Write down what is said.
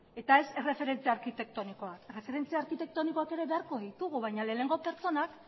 eta ez erreferentzia arkitektonikoak erreferentzia arkitektonikoak ere beharko ditugu baina lehenengo pertsonak